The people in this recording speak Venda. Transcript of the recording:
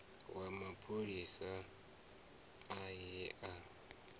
wa mapholisa a ye a